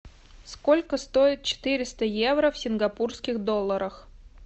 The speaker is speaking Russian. сколько стоит четыреста евро в сингапурских долларах